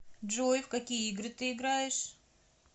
джой в какие игры ты играешь